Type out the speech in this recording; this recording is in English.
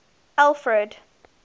alfred